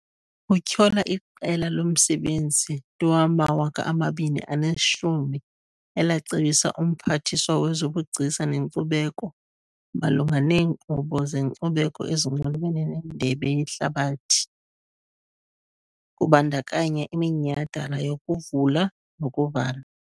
Utyhola iQela loMsebenzi nto wama-2010 elacebisa uMphathiswa wezoBugcisa neNkcubeko malunga neenkqubo zenkcubeko ezinxulumene neNdebe yeHlabathi, kubandakanya iminyhadala yokuvula nokuvala.